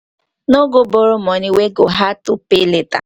no go borrow money wey go hard to pay later